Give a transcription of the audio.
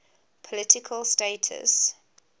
political status